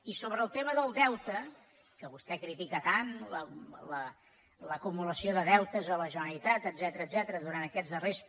i sobre el tema del deute que vostè critica tant l’acumulació de deutes a la generalitat etcètera durant aquests darrers